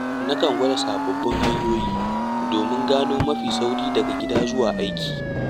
Na kan gwada sababbin hanyoyi domin gano mafi sauri daga gida zuwa aiki.